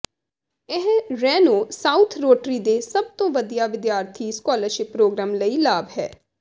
ਇਹ Reno south rotary ਦੇ ਸਭ ਤੋਂ ਵਧੀਆ ਵਿਦਿਆਰਥੀ ਸਕੋਲਰਸ਼ਿਪ ਪ੍ਰੋਗਰਾਮ ਲਈ ਲਾਭ ਹੈ